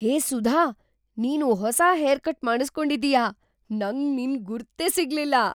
ಹೇ ಸುಧಾ, ನೀನು ಹೊಸ hair cut ಮಾಡಿಸ್ಕೊಂಡಿದೀಯ! ನಂಗ್‌ ನಿನ್ ಗುರ್ತೇ ಸಿಗ್ಲಿಲ್ಲ!